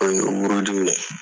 O ye n buruju ye dɛ